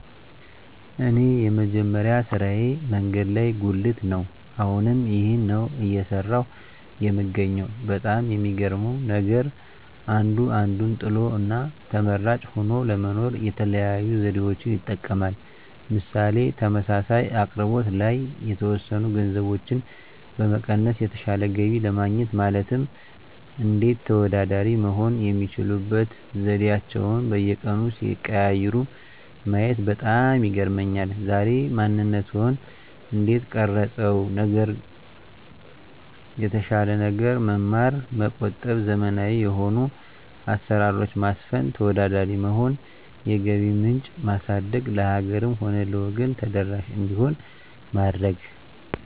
እኔ የመጀመሪያ ስራየ መንገድ ላይ ጉልት ነው አሁንም ይህንን ነው እየሰራሁ የምገኘው በጣም የሚገርመው ነገር አንዱ አንዱን ጥሎ እና ተመራጭ ሆኖ ለመኖር የተለያዩ ዘዴዎችን ይጠቀማል ምሳሌ ተመሳሳይ አቅርቦት ላይ የተወሰኑ ገንዘቦችን በመቀነስ የተሻለ ገቢ ለማግኘት ማለትም እንዴት ተወዳዳሪ መሆን የሚችሉበት ዘዴአቸዉን በየቀኑ ሲቀያይሩ ማየት በጣም ይገርመኛል ዛሬ ማንነትዎን እንዴት ቀረፀው ነገር የተሻለ ነገር መማር መቆጠብ ዘመናዊ የሆኑ አሰራሮች ማስፈን ተወዳዳሪ መሆን የገቢ ምንጭ ማሳደግ ለሀገርም ሆነ ለወገን ተደራሽ እንዲሆን ማድረግ